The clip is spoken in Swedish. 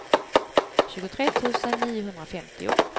tjugotre tusen niohundrafemtio